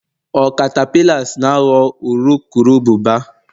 ọ catapillars na ghọọ urukurubụba